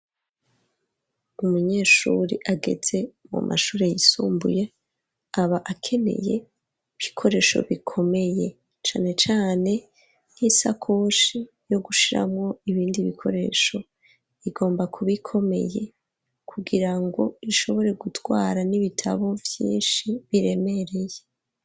Umunyeshuri agetse mu mashure yisumbuye aba akeneye bikoresho bikomeye cane cane nk'isakoshi yo gushiramo ibindi bikoresho igomba kubikomeye kugira ngo ishobore gutwara n'ibitabo byinshi biremereye.